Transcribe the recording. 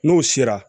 N'o sera